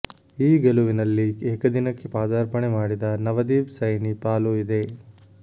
ಈ ಗೆಲುವಿನಲ್ಲಿ ಏಕದಿನಕ್ಕೆ ಪದಾರ್ಪಣೆ ಮಾಡಿದ ನವದೀಪ್ ಸೈನಿ ಪಾಲೂ ಇದೆ